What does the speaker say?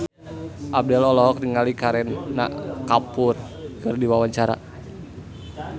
Abdel olohok ningali Kareena Kapoor keur diwawancara